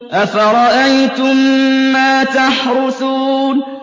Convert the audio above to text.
أَفَرَأَيْتُم مَّا تَحْرُثُونَ